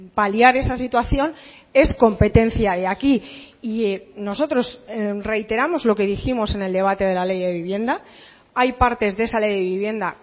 paliar esa situación es competencia de aquí y nosotros reiteramos lo que dijimos en el debate de la ley de vivienda hay partes de esa ley de vivienda